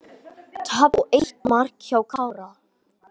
Tap og eitt mark hjá Kára